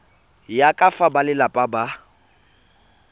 ya ka fa balelapa ba